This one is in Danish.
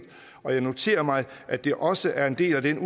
og jeg noterer mig at det også er en del af det